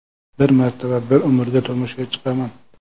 Bir marta va bir umrga turmushga chiqaman.